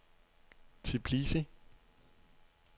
Tbilisi